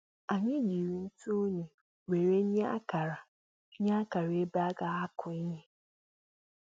Anyị jírí ntụ unyi wéré nye ákàrà nye ákàrà ebe a ga akụ ihe